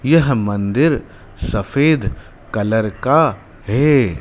यह मंदिर सफेद कलर का है।